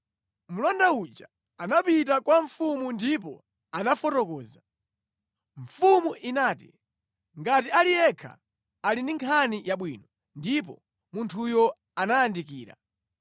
Mlonda uja anapita kwa mfumu ndipo anafotokoza. Mfumu inati, “Ngati ali yekha ali ndi nkhani yabwino” Ndipo munthuyo anayandikira.